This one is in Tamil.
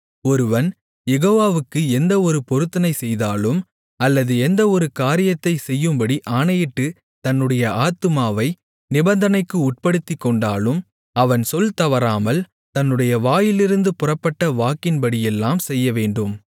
ஒருவன் யெகோவாவுக்கு எந்த ஒரு பொருத்தனை செய்தாலும் அல்லது எந்த ஒரு காரியத்தைச் செய்யும்படி ஆணையிட்டுத் தன்னுடைய ஆத்துமாவை நிபந்தனைக்கு உட்படுத்திக்கொண்டாலும் அவன் சொல்தவறாமல் தன்னுடைய வாயிலிருந்து புறப்பட்ட வாக்கின்படியெல்லாம் செய்யவேண்டும்